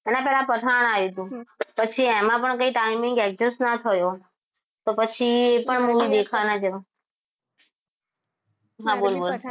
એના પહેલા પઠાણ આવ્યું હતું પછી એમાં પણ કઈ timing એક જ ના થયો તો પછી એ પણ movie દેખવા ના જવાય મારાથી